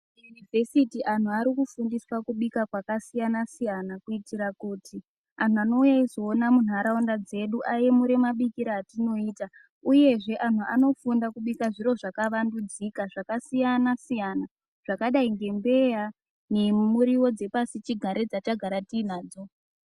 Vhesiti anhu ari kufundiswa kubika kwakasiyana siyana kuitira kuti antu anouya eizoone muntaraunda dzedu aemure mabikire atinoita uyezve antu anofunda kubika zviro zvakawandudzika zvakasiyana siyana zvakadai ngembeya nemuriwo dzepashi chigare dzatagara tiinadzo.